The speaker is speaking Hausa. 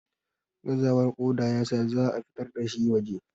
gazawar kodar ya sa za a fitar da shi waje